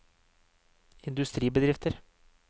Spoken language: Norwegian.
industribedrifter